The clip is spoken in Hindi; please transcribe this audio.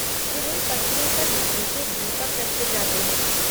फिर उन पट्टियों पर मिट्टी के दीपक रखे जाते हैं।